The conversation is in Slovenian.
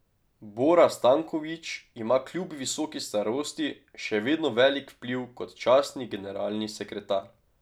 Bora Stanković ima kljub visoki starosti še vedno velik vpliv kot častni generalni sekretar.